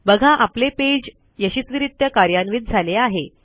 बघा आपले पेज यशस्वीरित्या कार्यान्वित झाले आहे